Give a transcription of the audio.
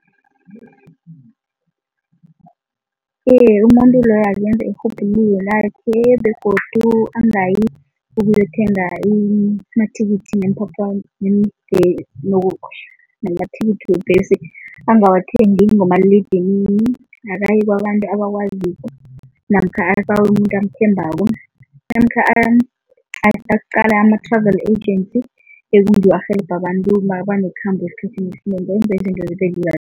Iye, umuntu loyo akenze irhubhululo lakhe begodu angayi ukuyothenga amathikithi namathikithi webhesi angawathengi ngomaliledinini. Akaye kwabantu abakwaziko namkha abawe umuntu amthembako namkha aqale ama-travel agency ekungiwo arhelebha abantu mabanekhambo esikhathini esinengi